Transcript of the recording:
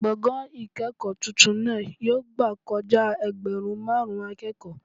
Gbọ̀ngàn ìkẹ́kọ̀ọ́ tuntun náà yóò gbà kojá ẹgbẹ̀rún máàrún akẹ́kọ̀ọ́